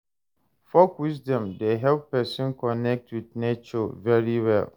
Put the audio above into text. Folk wisdom de help persin connect with nature very well